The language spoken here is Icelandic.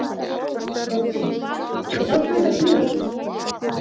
Broddi: Við látum þetta duga.